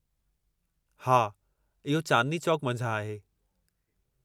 हा, इहो चांदनी चौक मंझां आहे।